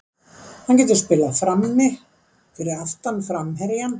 Hann getur spilað frammi, fyrir aftan framherjann.